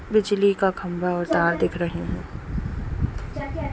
बिजली का खम्बा और तार दिख रहे हैं।